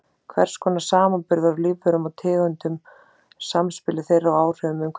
Hvers konar samanburður á lífverum og tegundum, samspili þeirra og áhrifum umhverfis.